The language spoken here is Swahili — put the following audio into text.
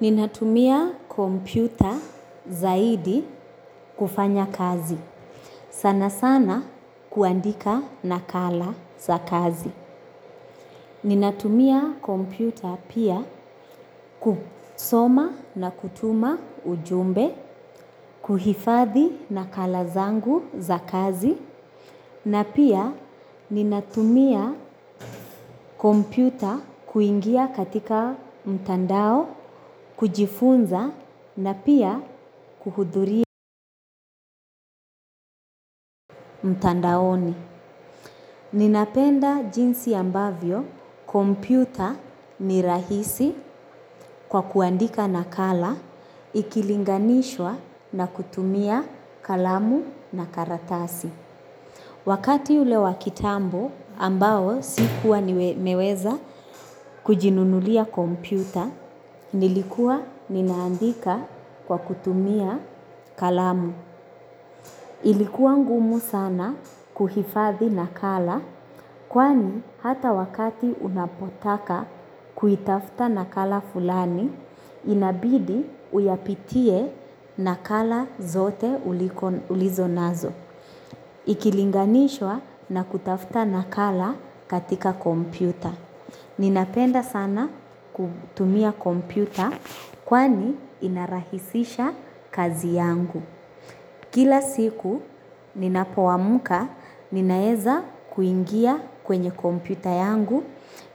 Ninatumia kompyuta zaidi kufanya kazi. Sana sana kuandika nakala za kazi. Ninatumia kompyuta pia kusoma na kutuma ujumbe, kuhifadhi na kala zangu za kazi. Na pia ninatumia kompyuta kuingia katika mtandao kujifunza na pia kuhudhuria mtandaoni. Ninapenda jinsi ambavyo kompyuta ni rahisi kwa kuandika nakala ikilinganishwa na kutumia kalamu na karatasi. Wakati ule wa kitambo ambao sikuwa nimeweza kujinunulia kompyuta, nilikuwa ninaandika kwa kutumia kalamu. Ilikuwa ngumu sana kuhifadhi nakala, kwani hata wakati unapotaka kuitafuta nakala fulani, inabidi uyapitie nakala zote ulizo nazo. Ikilinganishwa na kutafuta nakala katika kompyuta. Ninapenda sana kutumia kompyuta kwani inarahisisha kazi yangu. Kila siku ninapoamka ninaeza kuingia kwenye kompyuta yangu